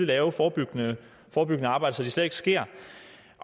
lave forebyggende arbejde så det slet ikke sker